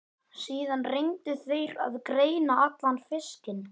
Síðan reyndu þeir að greina allan fiskinn.